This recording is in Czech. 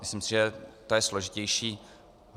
Myslím si, že to je složitější.